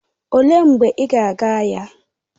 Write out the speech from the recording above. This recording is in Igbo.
Olee mgbe ị ga aga ahịa?